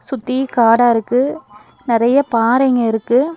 சுத்தி காடா இருக்கு நறைய பாறைங்க இருக்கு.